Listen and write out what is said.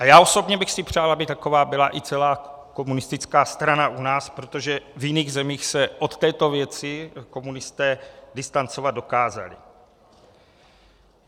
A já osobně bych si přál, aby taková byla i celá komunistická strana u nás, protože v jiných zemích se od této věci komunisté distancovat dokázali.